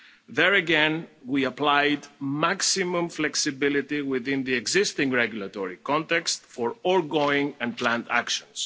There again we applied maximum flexibility within the existing regulatory context for ongoing and planned actions.